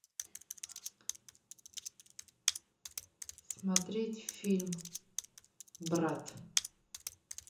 смотреть фильм брат